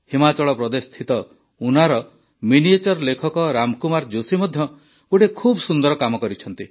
ହିମାଚଳ ପ୍ରଦେଶସ୍ଥିତ ଉନା ର ମିନିଏଚର୍ ଲେଖକ ରାମ କୁମାର ଜୋଶୀ ମଧ୍ୟ ଗୋଟିଏ ଖୁବ ସୁନ୍ଦର କାମ କରିଛନ୍ତି